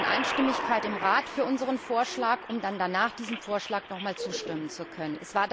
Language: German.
Denn wir brauchen Einstimmigkeit im Rat für unseren Vorschlag, um dann danach diesem Vorschlag nochmals zustimmen zu können.